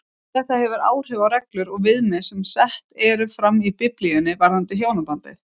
Þetta hefur áhrif á reglur og viðmið sem sett eru fram í Biblíunni varðandi hjónabandið.